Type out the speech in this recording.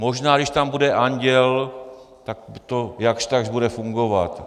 Možná když tam bude anděl, tak to jakž takž bude fungovat.